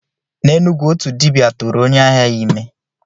N'Enugwu, otu dibia tụrụ onye ahịa ya ime.